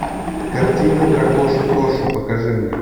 картина дракоша тоша покажи мне